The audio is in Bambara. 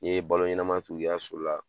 Ni ye balo ɲɛnaman tugu i ka so la